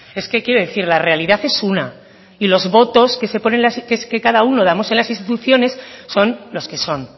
es que qué decir la realidad es una y los votos que cada uno damos en las instituciones son los que son